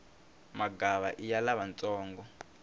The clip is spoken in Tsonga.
magava iya lavantsongo